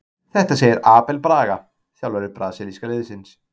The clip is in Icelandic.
Þetta segir Abel Braga, þjálfari brasilíska liðsins.